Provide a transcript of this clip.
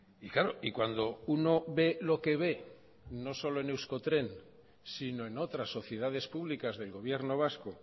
y claro y cuando uno ve lo que ve no solo en euskotren sino en otras sociedades públicas del gobierno vasco